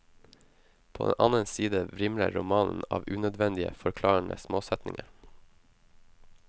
På den annen side vrimler romanen av unødvendige, forklarende småsetninger.